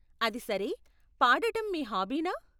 అది సరే, పాడటం మీ హాబీనా?